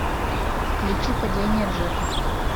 включи падение джека